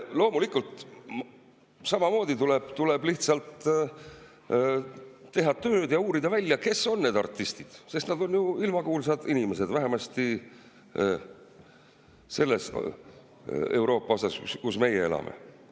Loomulikult tuleb lihtsalt teha tööd ja uurida välja, kes on need artistid, sest nad on ju ilmakuulsad inimesed, vähemasti selles Euroopa osas, kus meie elame.